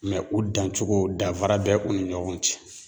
u dancogo dafara bɛ u ni ɲɔgɔn cɛ.